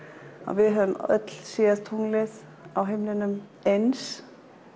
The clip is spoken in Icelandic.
við höfum öll séð tunglið á himninum eins